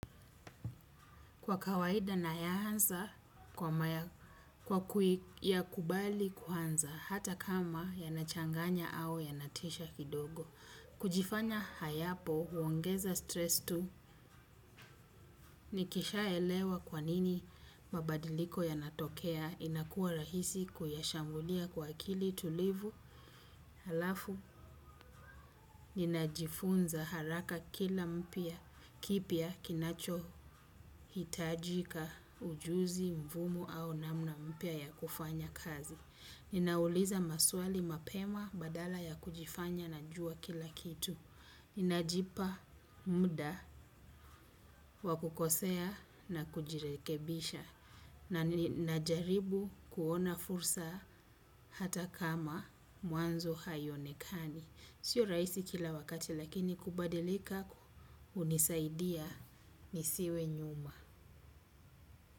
Kwa kawaida na yaanza kwa kui yakubali kuanza hata kama ya nachanganya au ya natisha kidogo. Kujifanya hayapo huongeza stress tu ni kisha elewa kwa nini mabadiliko ya natokea inakua rahisi kuyashambulia kwa akili tulivu. Halafu, ninajifunza haraka kila mpya kipya kinacho hitajika ujuzi mvumo au namna mpya ya kufanya kazi. Ninauliza maswali mapema badala ya kujifanya najua kila kitu. Ninajipa mda wakukosea na kujirekebisha. Na ninajaribu kuona fursa hata kama mwanzo haionekani. Sio raisi kila wakati lakini kubadilika hunisaidia nisiwe nyuma.